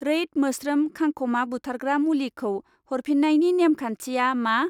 रैद मोस्रोम खांखमा बुथारग्रा मुलिखौ हरफिन्नायनि नेमखान्थिया मा?